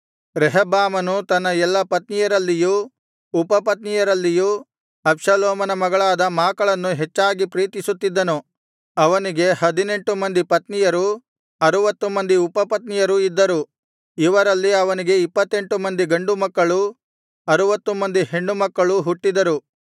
ರೆಹಬ್ಬಾಮನು ತನ್ನ ಎಲ್ಲಾ ಪತ್ನಿಯರಲ್ಲಿಯೂ ಉಪಪತ್ನಿಯರಲ್ಲಿಯೂ ಅಬ್ಷಾಲೋಮನ ಮಗಳಾದ ಮಾಕಳನ್ನು ಹೆಚ್ಚಾಗಿ ಪ್ರೀತಿಸುತ್ತಿದ್ದನು ಅವನಿಗೆ ಹದಿನೆಂಟು ಮಂದಿ ಪತ್ನಿಯರೂ ಅರುವತ್ತು ಮಂದಿ ಉಪಪತ್ನಿಯರೂ ಇದ್ದರು ಇವರಲ್ಲಿ ಅವನಿಗೆ ಇಪ್ಪತ್ತೆಂಟು ಮಂದಿ ಗಂಡುಮಕ್ಕಳೂ ಅರುವತ್ತು ಮಂದಿ ಹೆಣ್ಣುಮಕ್ಕಳೂ ಹುಟ್ಟಿದರು